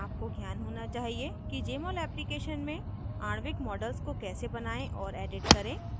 आपको ज्ञान होना चाहिए कि jmol application में आणविक models को कैसे बनायें और edit करें